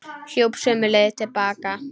Hljóp sömu leið til baka.